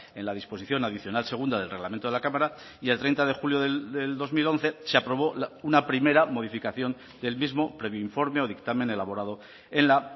en la disposición adicional segunda del reglamento de la cámara y el treinta de julio del dos mil once se aprobó una primera modificación del mismo previo informe o dictamen elaborado en la